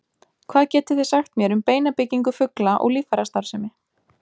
Hvað getið þið sagt mér um beinabyggingu fugla og líffærastarfsemi?